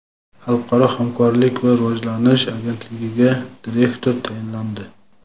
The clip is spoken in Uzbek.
Xalqaro hamkorlik va rivojlanish agentligiga direktor tayinlandi.